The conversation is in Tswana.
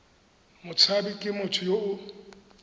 motshabi ke motho yo o